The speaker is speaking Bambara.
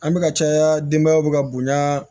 An bɛka caya denbayaw bɛ ka bonya